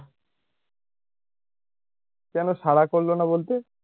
কেনো সাড়া করলনা বলতে?